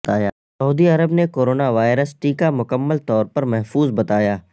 سعودی عرب نے corona virus ٹیکہ مکمل طور پر محفوظ بتایا